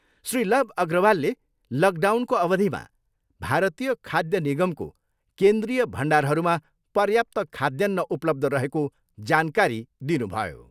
श्री लव अग्रवालले लकडाउनको अवधिमा भारतीय खाद्य निगमको केन्द्रीय भण्डारहरूमा पर्याप्त खाद्यान्न उपलब्ध रहेको जानकारी दिनुभयो।